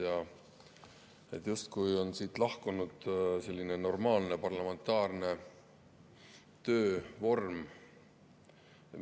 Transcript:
Siit oleks justkui lahkunud selline normaalne parlamentaarne töövorm.